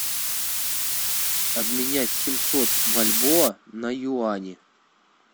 обменять семьсот бальбоа на юани